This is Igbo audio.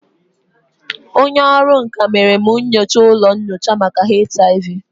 Onye ọrụ nka mere m nyocha ụlọ nyocha maka HIV